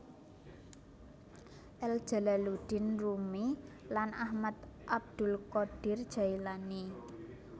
El Jalaluddin Rumi lan Ahmad Abdul qodir Jaelani